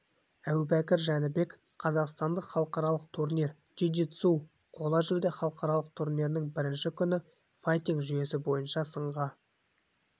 әбубәкір жәнібек қазақстандық халықаралық турнир джиу джитсу қола жүлде халықаралық турнирінің бірінші күні файтинг-жүйесі бойынша сынға